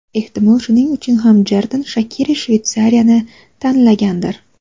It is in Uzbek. Ehtimol, shuning uchun ham Jerdan Shakiri Shveysariyani tanlagandir.